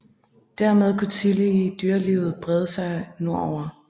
Dermed kunne tillige dyrelivet brede sig nordover